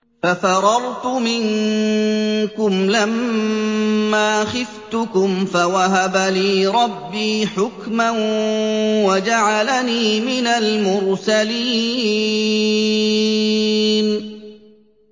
فَفَرَرْتُ مِنكُمْ لَمَّا خِفْتُكُمْ فَوَهَبَ لِي رَبِّي حُكْمًا وَجَعَلَنِي مِنَ الْمُرْسَلِينَ